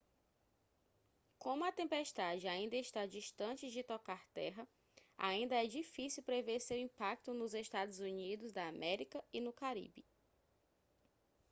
como a tempestade ainda está distante de tocar terra ainda é difícil prever seu impacto nos eua e no caribe